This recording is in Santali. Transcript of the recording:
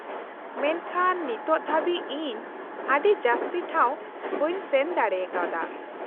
-ᱢᱮᱱᱠᱷᱟᱱ ᱱᱤᱛ ᱫᱷᱟᱹᱵᱤᱡ ᱤᱧ ᱟᱹᱰᱤ ᱡᱟᱹᱥᱛᱤ ᱴᱷᱟᱶ ᱵᱟᱹᱧ ᱥᱮᱱ ᱫᱟᱲᱮ ᱠᱟᱣᱫᱟ ᱾